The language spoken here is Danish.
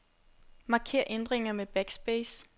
Marker ændringer med backspace.